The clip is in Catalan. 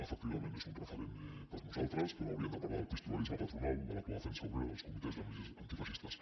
efectivament és un referent per a nosaltres però hauríem de parlar del pistolerisme patronal de l’autodefensa obrera dels comitès antifeixistes